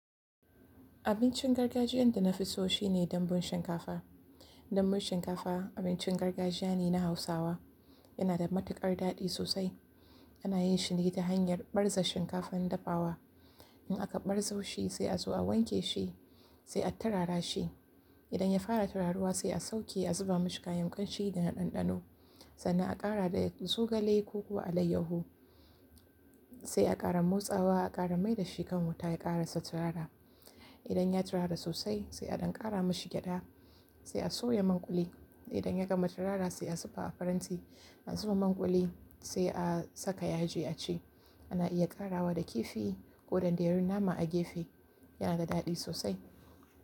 Abincin gargajiyan da na fi so shine dambun shinkafa. Dambun shinkafa abincin gargajiya ne na hausawa. Yana da matuƙar daɗi sosai. Ana yin shi ne ta hanyar ɓarza shinkafan dafawa. In aka ɓarzo shi sai a zo a wanke shi sai a turara shi. Idan ya fara tararuwa sai a sauke a zuba mashi kayan kamshi da ɗanɗano. Sannan a ƙara da zogale ko kuwa alayyahu sai a ƙara motsawa a ƙara mai da shi kan wuta ya ƙarasa turara. Idan ya turara sosai sai a ɗan ƙara mashi gyaɗa sai a soya manƙuli. Idan ya gama turara sai a ziba a faranti. An siffa manƙuli sai a saka yaji a ci. Ana iya ƙarawa da kifi ko dandayoyin nama a gefe. Yana da daɗi sosai.